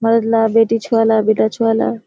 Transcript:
औरतला बेटी छुवाला बेटा छुवाला।